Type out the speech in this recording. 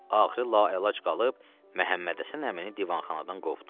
Axırı laəlac qalıb Məhəmmədhəsən əmini divanxanadan qovdu.